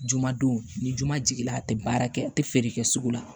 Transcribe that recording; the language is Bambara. Juma don ni juma jiginna a te baara kɛ a te feere kɛ sugu la